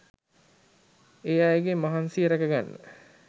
ඒ අයගේ මහන්සිය ‍රැකගන්න